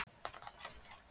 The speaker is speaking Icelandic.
Punda virði??!?